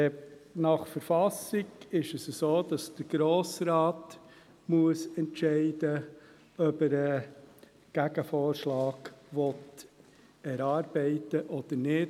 Nach KV muss der Grosse Rat entscheiden, ob er einen Gegenvorschlag erarbeiten will oder nicht.